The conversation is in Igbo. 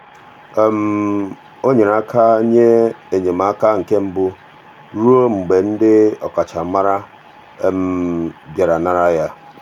o nyere aka nye enyemaka nke mbụ ruo mgbe ndị ọkachamara bịara nara ya.